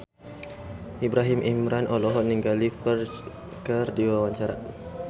Ibrahim Imran olohok ningali Ferdge keur diwawancara